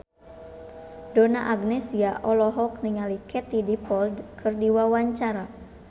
Donna Agnesia olohok ningali Katie Dippold keur diwawancara